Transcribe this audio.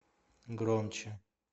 громче